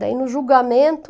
Daí no julgamento...